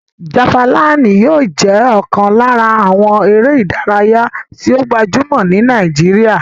Jafalínì yóò jẹ́ ọ̀kan lára àwọn eré ìdárayá tó gbajúmọ̀ ní Nàìjíríyà